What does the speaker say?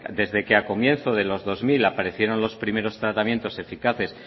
desde que a comienzos de los dos mil aparecieron los primeros tratamientos eficaces